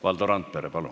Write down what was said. Valdo Randpere, palun!